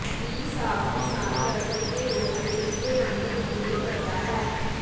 ਵੀ ਸਾਫ ਪਿਸ਼ਾਬ ਕਰ ਸਕਦੇ ਹੋ ਅਤੇ ਇਸ ਦੇ ਰੰਗ ਨੂੰ ਤਬਦੀਲ ਕਰਦਾ ਹੈ